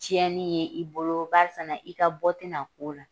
Tiɲɛni ye i bolo barisa na i ka bɔ tɛna k'o la